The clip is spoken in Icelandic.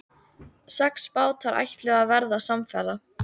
Sex bátar ætluðu að verða samferða.